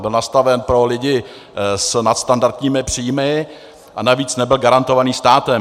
Byl nastaven pro lidi s nadstandardními příjmy a navíc nebyl garantován státem.